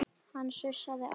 Hann sussaði á